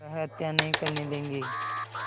वह हत्या नहीं करने देंगे